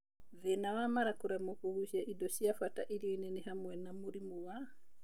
Thĩna wa mara kũremwo kũgũcia indo cia bata irionĩ nĩ hamwe na mũrimũ wa Celiac disease lactose